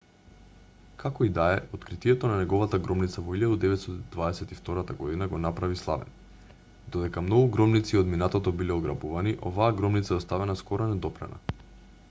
како и да е откритието на неговата гробница во 1922 г го направи славен додека многу гробници од минатото биле ограбувани оваа гробница е оставена скоро недопрена